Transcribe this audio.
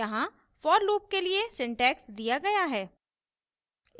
यहाँ for loop के लिए syntax दिया गया है